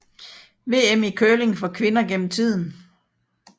VM i curling for kvinder gennem tiden